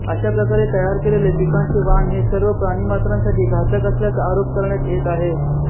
अशा प्रकारे तयार केलेले पिकांचे वाण हे सर्व प्राणिमात्रांसाठी घातक असल्याचा आरोप करण्यात येत आहे